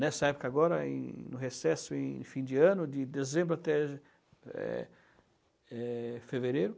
Nessa época agora, em no recesso, em fim de ano, de dezembro até é é fevereiro.